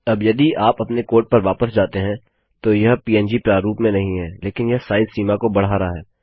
अब यदि आप अपने कोड पर वापस जाते हैं तो यह पंग प्रारूप में नहीं है लेकिन यह साइज सीमा को बढ़ा रहा है